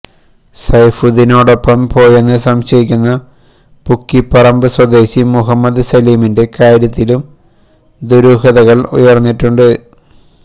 സൈഫുദ്ദീനോടൊപ്പം പോയെന്നു സംശയിക്കുന്ന പുക്കിപ്പറമ്ബ് സ്വദേശി മുഹമ്മദ് സലീമിന്റെ കാര്യത്തിലും ദുരൂഹതകള് ഉയര്ന്നിട്ടുണ്ട്